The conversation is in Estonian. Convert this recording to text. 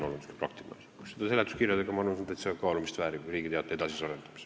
Aga seletuskirjad – ma arvan, et see on täitsa kaalumist vääriv idee Riigi Teataja edasisel arendamisel.